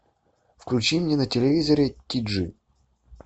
включи мне на телевизоре ти джи